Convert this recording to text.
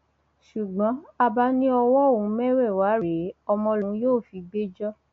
ṣùgbọn abba ní ọwọ òun mẹwẹẹwá rèé ọmọ lòun yóò fi gbé jọ